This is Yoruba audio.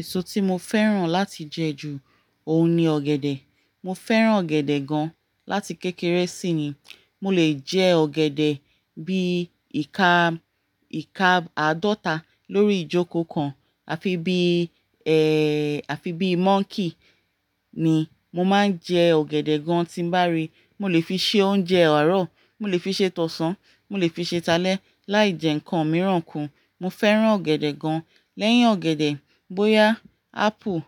Èso tí mo fẹ́ràn láti jẹ ju òun ni ọ̀gẹ̀dẹ̀. Mo fẹ́ràn ọ̀gẹ̀dẹ̀ gan láti kékeré sí ni. Mo lè jẹ ọ̀gẹ̀dẹ̀ bí ìka, ìka àádọ́ta lórí ìjókòó kan àfi bí, àfi bí móńkey ni mo máa ń jẹ ọ̀gẹ̀dẹ̀ gan tí n bá rí. Mo lè fi ṣe oúnjẹ àárọ̀, mo lè fi ṣe tọ̀sán, mo lè fi ṣe ta lẹ, láì jẹ ǹkan mìíràn kún. Mo fẹ́ràn ọ̀gẹ̀dẹ̀ gan. Lẹ́yìn ọ̀gẹ̀dẹ̀, bóyá apple,